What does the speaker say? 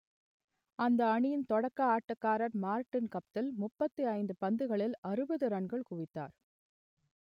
அந்த அணியின் தொடக்க ஆட்டக்காரர் மார்டின் கப்தில் முப்பத்தி ஐந்து பந்துகளில் அறுபது ரன்கள் குவித்தார்